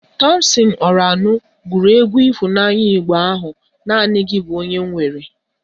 Tọmpsịn Ọranụ gụrụ egwu ịhụnanya Igbo bụ "Naanị gị bụ onye m nwere"